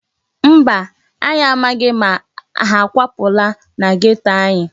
Mba, anyị amaghị ma ha akwapụla na geto anyị.